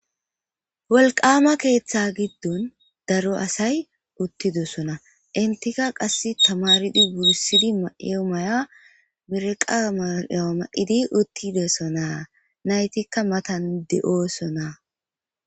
Wolqama keetha gidon daro asay uthidosona entika kase tamaaridi wursidi mayiyo mayuwa mireqa mayuwa mayidi uthidosona naytika matan de'osona.